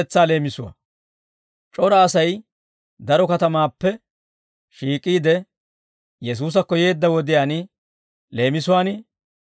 C'ora Asay daro katamatuwaappe shiik'iide, Yesuusakko yeedda wodiyaan leemisuwaan,